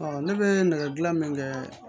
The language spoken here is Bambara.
ne bɛ nɛgɛ gilan min kɛ